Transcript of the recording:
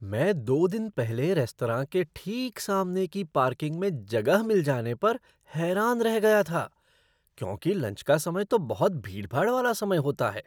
मैं दो दिन पहले रेस्तरां के ठीक सामने की पार्किंग में जगह मिल जाने पर हैरान रह गया था क्योंकि लंच का समय तो बहुत भीड़भाड़ वाला समय होता है।